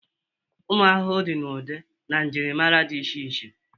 ụmụ ahụhụ dị n'ụdị na njirimara dị iche iche